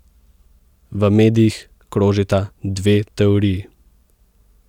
V medijih krožita dve teoriji.